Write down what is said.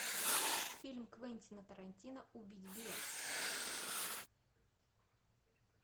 фильм квентина тарантино убить билла